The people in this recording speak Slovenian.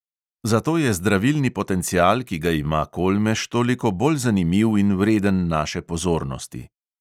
Zato je zdravilni potencial, ki ga ima kolmež, toliko bolj zanimiv in vreden naše pozornosti.